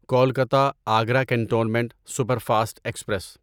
Kolkata Agra cantonment superfast express